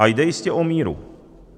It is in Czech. A jde jistě o míru.